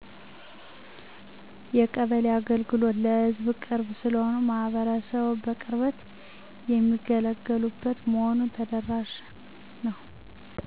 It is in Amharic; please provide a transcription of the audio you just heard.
የቀበሌ አገልግሎቶች ለሕዝብ ቅርብ ስለሆኑ ማህበረሰቡ በቅርበት የሚገለገሉበት በመሆኑ ተደራሽ ነው።